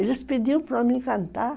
Eles pediam para eu cantar.